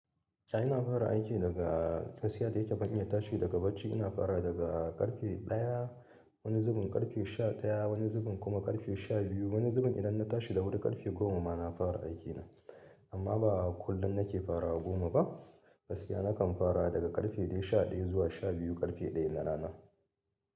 Eh ina fara aiki daga, gaskiya da yake ban iya tashi daga bacci ina farawa daga ƙarfe ɗaya wani zubin, ƙarfe sha ɗaya wani zubin kuma ƙarfe sha biyu wani zubin idan na tashi da wuri ƙarfe goma ma na fara aikina. Amma ba kullum nake fara wa goma ba, gaskiya nakan fara daga ƙarfe dai sha ɗaya zuwa sha biyu ƙarfe ɗaya na rana.